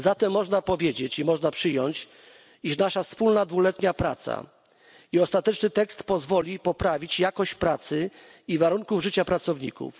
Można zatem powiedzieć i można przyjąć, iż nasza wspólna dwuletnia praca i ostateczny tekst pozwoli poprawić jakość pracy i warunków życia pracowników.